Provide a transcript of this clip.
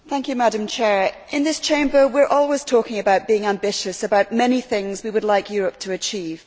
Madam President, in this Chamber, we are always talking about being ambitious, about many things we would like Europe to achieve.